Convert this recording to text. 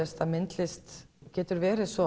myndlist getur verið svo